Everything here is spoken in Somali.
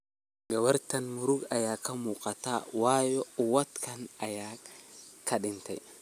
Gawartan murug aya kamugataa wayo uuwatkedha aya kadhintey.